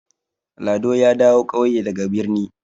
Lado ya dawo ƙauye daga birni.